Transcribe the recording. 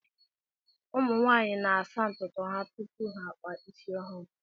ụmụ nwaanyị na-asa ntụtụ ha tupu ha akpa isi ọhụrụ